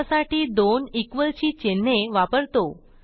त्यासाठी दोन इक्वॉल ची चिन्हे वापरतो